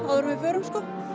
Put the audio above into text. áður en við förum